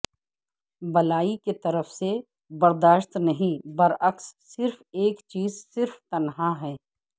بالائی کی طرف سے برداشت نہیں برعکس صرف ایک چیز صرف تنہا ہے